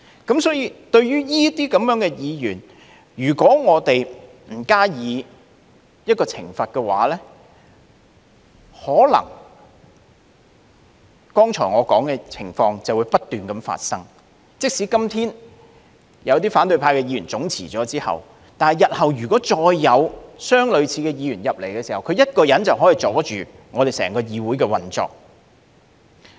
因此，對於這些議員，如果我們不懲罰他們，可能剛才我說的情況便會不斷發生，即使今天有些反對派議員總辭，但日後如果再有相類似議員加入議會，他一人便可以阻礙整個議會的運作。